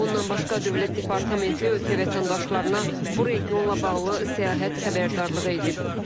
Bundan başqa Dövlət Departamenti ölkə vətəndaşlarına bu regionla bağlı səyahət xəbərdarlığı edib.